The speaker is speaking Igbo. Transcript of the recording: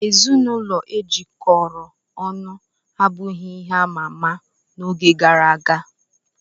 Ezinụlọ e jikọrọ ọnụ abụghị ihe ama ama n'oge gara aga.